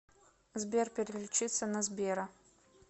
сбер переключиться на сбера